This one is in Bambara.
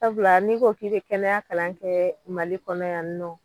Sabula n'i ko k'i bɛ kɛnɛya kalan kɛ Mali kɔnɔ yanni nɔ.